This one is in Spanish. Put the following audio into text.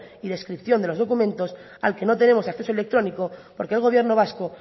y descripción de los documentos al que no tenemos acceso electrónico porque el gobierno vasco